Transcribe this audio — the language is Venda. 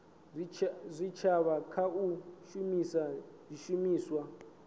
zwitshavha kha u shumisa zwishumiswa